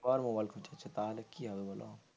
mobile খোঁচাচ্ছ তাহলে কি হবে বোলো,